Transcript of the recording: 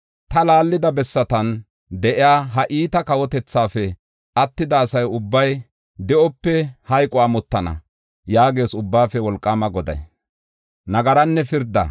Ta laallida bessatan de7iya, ha iita kawotethaafe attida asa ubbay de7ope hayqo amotana” yaagees Ubbaafe Wolqaama Goday.